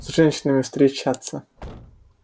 с женщинами встречаться